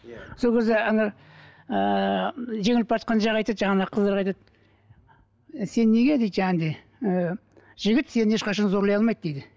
иә сол кезде ана ыыы жеңіліп бара жатқан жақ айтады жаңағындай қыздарға айтады сен неге дейді және де ііі жігіт сені ешқашан зорлай алмайды дейді